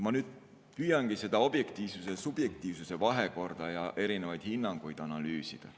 Ma püüangi nüüd seda objektiivsuse-subjektiivsuse vahekorda ja erinevaid hinnanguid analüüsida.